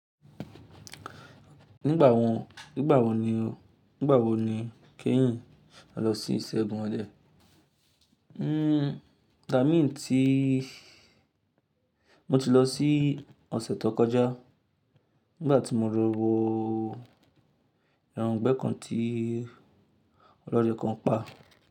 Nígbà wo, nígbà wo ni o, nígbà wo ni keyin lọ sí ìṣẹ́gun ọdẹ? Nnn, igbamí tíí, mo ti lọ sí ọ̀sẹ̀ tó kọjá, nígbà tí mo lo wo ẹran igbẹ́ kàn tí olódẹ kan pa.